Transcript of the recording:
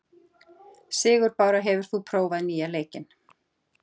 Sigurbára, hefur þú prófað nýja leikinn?